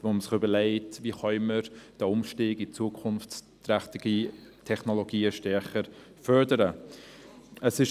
Wir müssen uns überlegen, wie wir den Umstieg auf zukunftsträchtige Technologien stärker fördern können.